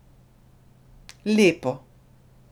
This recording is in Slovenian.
Lepo.